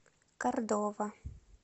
кордова